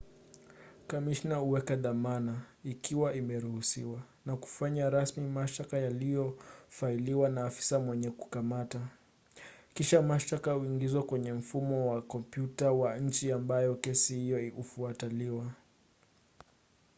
kamishna huweka dhamana ikiwa imeruhusiwa na kufanya rasmi mashtaka yaliyofailiwa na afisa mwenye kukamata. kisha mashtaka huingizwa kwenye mfumo wa kompyuta wa nchi ambapo kesi hiyo hufuatiliwa